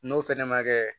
N'o fɛnɛ ma kɛ